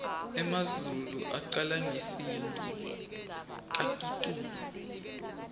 emazulu aculangesintfu kakitulu